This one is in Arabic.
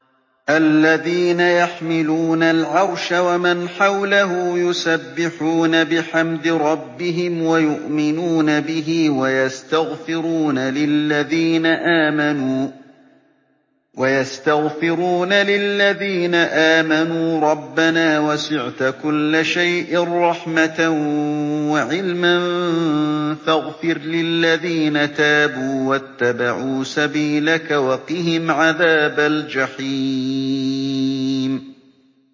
الَّذِينَ يَحْمِلُونَ الْعَرْشَ وَمَنْ حَوْلَهُ يُسَبِّحُونَ بِحَمْدِ رَبِّهِمْ وَيُؤْمِنُونَ بِهِ وَيَسْتَغْفِرُونَ لِلَّذِينَ آمَنُوا رَبَّنَا وَسِعْتَ كُلَّ شَيْءٍ رَّحْمَةً وَعِلْمًا فَاغْفِرْ لِلَّذِينَ تَابُوا وَاتَّبَعُوا سَبِيلَكَ وَقِهِمْ عَذَابَ الْجَحِيمِ